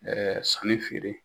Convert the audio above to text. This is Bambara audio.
sanni feere.